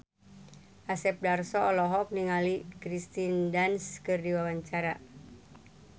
Asep Darso olohok ningali Kirsten Dunst keur diwawancara